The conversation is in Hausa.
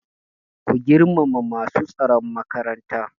Ku girmama masu tsaron makaranta!